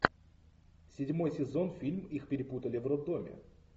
седьмой сезон фильм их перепутали в роддоме